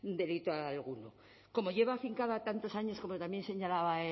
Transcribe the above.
delito alguno como lleva afincada tantos años como también señalaba